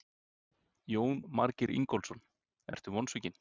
Jónas Margeir Ingólfsson: Ertu vonsvikinn?